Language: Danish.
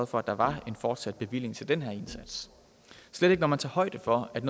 for at der var en fortsat bevilling til den her indsats slet ikke når man tager højde for at